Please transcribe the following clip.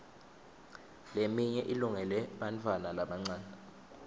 leminye ilungele bantfwana labancane